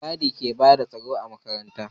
Mai gadi ke bada tsaro a makaranta